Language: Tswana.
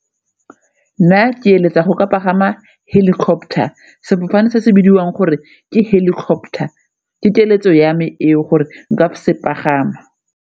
Nna ke eletsa go ka pagama helicopter, sefofane se se bidiwang gore ke helicopter ke keletso ya me eo gore nka se pagama.